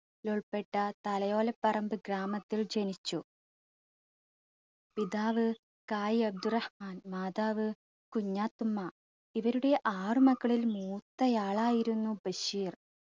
ലുൾപ്പെട്ട തലയോലപ്പറമ്പ് ഗ്രാമത്തിൽ ജനിച്ചു പിതാവ് കായ് അബ്ദുറഹ്മാൻ മാതാവ് കുഞ്ഞാത്തുമ്മ. ഇവരുടെ ആറു മക്കളിൽ മൂത്തയാളായിരുന്നു ബഷീർ